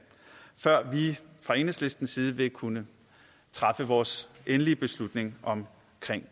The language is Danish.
før vi fra enhedslistens side vil kunne træffe vores endelige beslutning om